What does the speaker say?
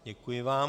Děkuji vám.